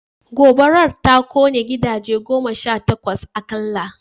Gobarar ta kone gidaje goma sha takwas akalla